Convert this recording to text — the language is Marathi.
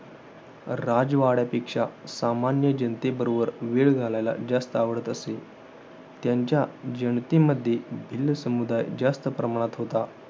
राजवाड्यापेक्षा, सामान्य जनतेबरोबर वेळ घालवायला जास्त आवडत असे. त्यांच्या जनतेमध्ये भिल्ल समुदाय जास्त प्रमाणत होता.